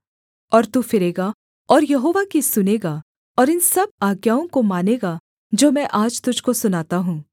और तू फिरेगा और यहोवा की सुनेगा और इन सब आज्ञाओं को मानेगा जो मैं आज तुझको सुनाता हूँ